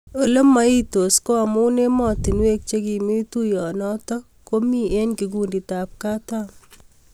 Ole maitos ko amu ematinuek che kimii tuyoo notok ko mii eng kikundit ap kataam